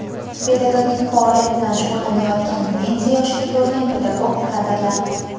pedagogik faoliyat bilan shug‘ullanayotgan pensiya yoshiga to‘lgan pedagog kadrlar;.